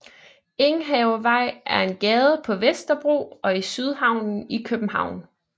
Enghavevej er en gade på Vesterbro og i Sydhavnen i København